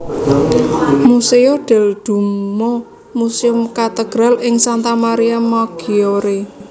Museo del Duomo Museum Cathedral ing Santa Maria Maggiore